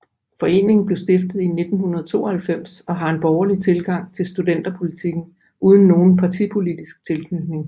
Foreningen blev stiftet i 1992 og har en borgerlig tilgang til studenterpolitikken uden nogen partipolitisk tilknytning